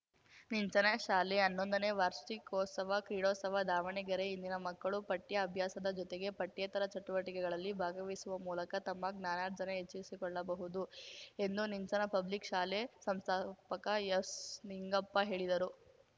ನಿಂಚನ ಶಾಲೆ ಹನ್ನೊಂದನೇ ವಾರ್ಷಿಕೋತ್ಸವ ಕ್ರೀಡೋತ್ಸವ ದಾವಣಗೆರೆ ಇಂದಿನ ಮಕ್ಕಳು ಪಠ್ಯ ಅಭ್ಯಾಸದ ಜೊತೆಗೆ ಪಠ್ಯೇತರ ಚಟುವಟಿಕೆಗಳಲ್ಲಿ ಭಾಗವಹಿಸುವ ಮೂಲಕ ತಮ್ಮ ಜ್ಞಾನಾರ್ಜನೆ ಹೆಚ್ಚಿಸಿಕೊಳ್ಳಬಹುದು ಎಂದು ನಿಂಚನ ಪಬ್ಲಿಕ್‌ ಶಾಲೆ ಸಂಸ್ಥಾಪಕ ಎಸ್‌ನಿಂಗಪ್ಪ ಹೇಳಿದರು